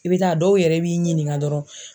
I bɛ taa a dɔw yɛrɛ b'i ɲininka dɔrɔn.